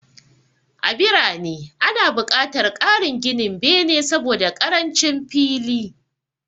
A birane, ana buƙatar ƙarin ginin bene saboda ƙarancin fili.